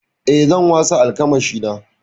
Eh, zan wasa almakashina.